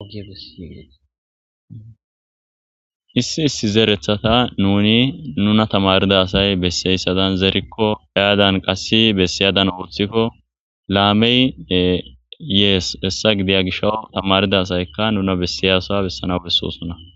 issi issi zeerethata nuni nuna tamarida asay besseyssadan zerikko ayadan qassi bessiyadan oothikko laamey yees hessa gidiya gisho tamarida asayka nuna bessiyasa bessana bessosunna